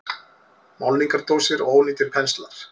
Málningardósir og ónýtir penslar.